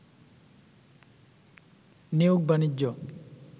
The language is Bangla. নিয়োগ-বাণিজ্য